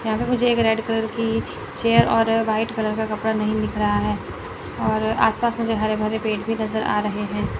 यहां पे मुझे एक रेड कलर की चेयर और व्हाइट कलर का कपड़ा नहीं दिख रहा है और आसपास मुझे हरे भरे पेड़ भी नज़र आ रहे हैं।